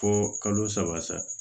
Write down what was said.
Fo kalo saba